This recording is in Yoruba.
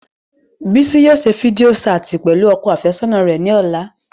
Bisi yóò ṣe fidio ṣaati pẹlu ọkọ afẹsọna rẹ ni ọla.